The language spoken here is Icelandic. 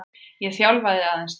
Ég þjálfaði aðeins þar.